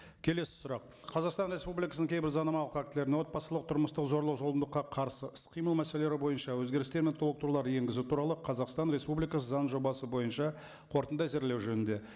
келесі сұрақ қазақстан республикасының кейбір заңнамалық актілеріне отбасылық тұрмыстық зорлық зомбылыққа қарсы іс қимыл мәселелері бойынша өзгерістер мен толықтырулар енгізу туралы қазақстан республикасы заңының жобасы бойынша қорытынды әзірлеу жөнінде